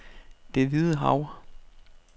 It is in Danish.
Det Hvide Hav